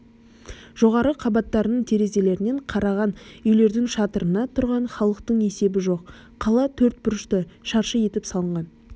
жоғарғы қабаттарының терезелерінен қараған үйлердің шатырына тұрған халықтың есебі жоқ қала төрт бұрышты шаршы етіп салынған